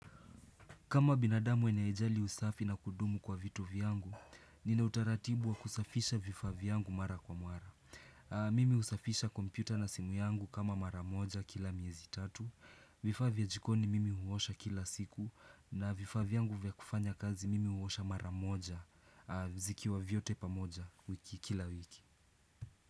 Kama binadamu anayejali usafi na kudumu kwa vitu vyangu, nina utaratibu wa kusafisha vifaa vyangu mara kwa mara. Mimi husafisha kompyuta na simu yangu kama mara moja kila miezi tatu, vifaa vya jikoni mimi huosha kila siku, na vifaa vyangu vya kufanya kazi mimi huosha mara moja zikiwa vyote pamoja kila wiki.